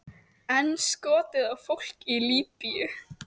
Enn skotið á fólk í Líbýu